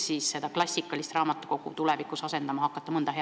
Kas miski võiks klassikalist raamatukogu tulevikus asendama hakata?